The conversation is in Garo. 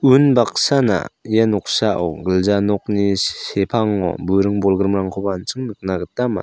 unbaksana ia noksao gilja nokni se-sepango buring bolgrimrangkoba an·ching nikna gita man--